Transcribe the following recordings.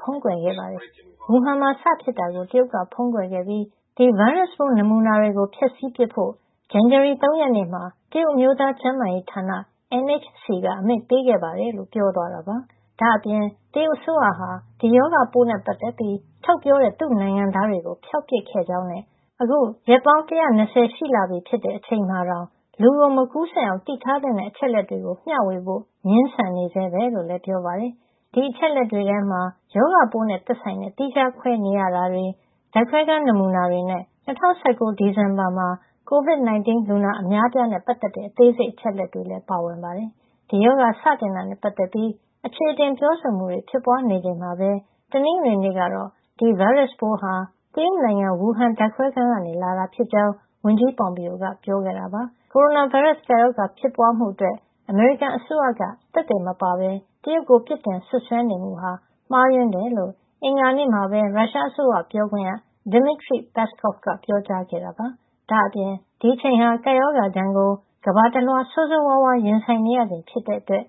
ဖုံးကွယ်ခဲ့ပါတယ်။ ဝူဟန်မှာ စဖြစ်တာကို တရုတ်က ဖုံးကွယ်ခဲ့ပြီး ဒီဗိုင်းရပ်စ်ပိုး နမူနာတွေကို ဖျက်ဆီးပစ်ဖို့ ဇန်နဝါရီလ ၃ ရက်နေ့မှာ တရုတ် အမျိုးသား ကျန်းမာရေးဌာနက NHC က အမိန့်ပေးခဲ့ပါတယ်” လို့ ပြောသွားတာပါ။ ဒါ့အပြင် တရုတ်အစိုးရဟာ ဒီရောဂါပိုးနဲ့ ပတ်သက်ပြီး ထုတ်ပြောတဲ့ သူ့နိုင်ငံသားတွေကို ဖျောက်ပစ်ခဲ့ကြောင်းနဲ့ အခု ရက်ပေါင်း ၁၂၀ ရှိလာပြီဖြစ်တဲ့ အချိန်မှာတောင် လူကို မကူးစက်အောင် သိထားသင့်တဲ့ အချက်လက်တွေကို မျှဝေဖို့ ငြင်းဆန်နေဆဲပဲလို့လည်း ပြောပါတယ်။ ဒီအချက်အလက်တွေထဲမှ ရောဂါပိုးနဲ့ သက်ဆိုင်တဲ့ သီးခြားခွဲနေရတာတွေ၊ ဓါတ်ခွဲခန်း နမူနာတွေနဲ့ ၂၀၁၉ ဒီဇင်ဘာတုန်းက Covid-19 လူနာအများအပြားနဲ့ ပတ်သက်တဲ့ အသေးစိတ် အချက်အလက်တွေ ပါဝင်ပါတယ်။ ဒီရောဂါ စတင်တာနဲ့ ပတ်သက်ပြီး အခြေအတင် ပြောဆိုမှုတွေ ဖြစ်ပွါးနေချိန်မှာပဲ တနင်္ဂနွေနေ့ကတော့ ဒီဗိုင်းရပ်စ်ပိုးဟာ တရုတ်နိုင်ငံ ဝူဟန်က ဓါတ်ခွဲခန်းကနေ လာတာဖြစ်ကြောင်း ဝန်ကြီး Pompeo ကပြောခဲ့တာပါ။ ကိုရိုနာဗိုင်းရပ်စ် ကပ်ရောဂါ ဖြစ်ပွါးမှုအတွက် အမေရိကန်အစိုးရက သက်သေမပါပဲ တရုတ်ကို အပြစ်တင် စွပ်စွဲနေမှုဟာ မှားယွင်းကြောင်း အင်္ဂါနေ့မှာပဲ ရုရှားအစိုးရ ပြောခွင့်ရ Dmitry Peskov က ပြောကြားခဲ့ပါတယ်။ ဒါ့အပြင် ဒီအချိန်ဟာ ကပ်ရောဂါဒဏ်ကို ကမ္ဘာတလွှား ဆိုးဆိုးဝါးဝါး ရင်ဆိုင်နေရချိန်ဖြစ်တဲ့အတွက်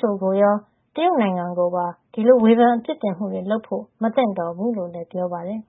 WHO ကိုရော တရုတ်နိုင်ငံကိုပါ ဒီလို ဝေဖန် အပြစ်တင်မှုတွေလုပ်ဖို့ မသင့်တော်ဘူးလို့လည်း ပြောပါတယ်